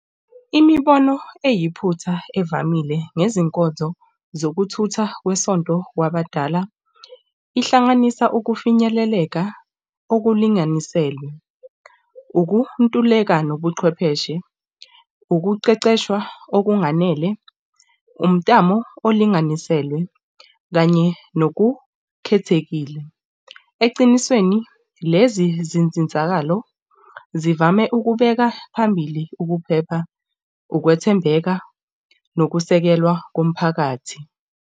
Imibono eyiphutha evamile ngezinkonzo zokuthutha kwesonto kwabadala ihlanganisa ukufinyeleleka okulinganiselwe. Ukuntuleka nobuchwepheshe, ukuqeqeshwa okunganele, umtamo olinganiselwe kanye nokukhethekile. Ecinisweni lezi zinsizakalo zivame ukubeka phambili ukuphepha, ukwethembeka, nokusekelwa komphakathi.